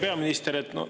Hea peaminister!